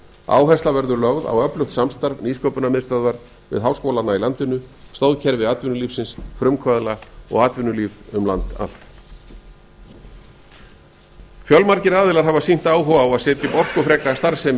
áhersla verður lögð á öflugt samstarf nýsköpunarmiðstöðvar við háskólana i landinu stoðkerfi atvinnulífsins frumkvöðla og atvinnulíf um land allt fjölmargir aðilar afar sýnt áhuga á að setja upp orkufreka starfsemi hér á